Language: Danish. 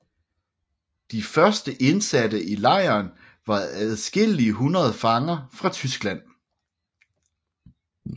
De første indsatte i lejren var adskillige hundrede fanger fra Tyskland